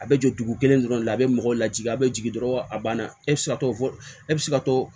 A bɛ jɔ dugu kelen dɔrɔn de la a bɛ mɔgɔw lajigin a bɛ jigin dɔrɔn a banna e bɛ se ka to e bɛ se ka to